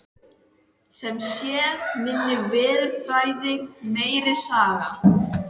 Sem sé, minni veðurfræði, meiri saga.